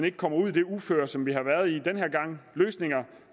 ikke kommer ud i det uføre som vi har været i den her gang løsninger